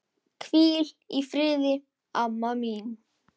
Hvíl í friði, amma mín.